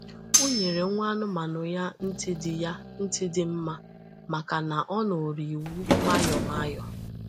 O nyere nwa anụmanụ ya ntị dị ya ntị dị mma maka na ọ nụrụ iwu nwayọọ nwayọọ